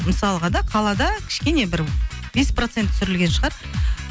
мысалға да қалада кішкене бір бес процент түсірілген шығар